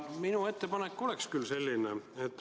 Minu ettepanek on selline.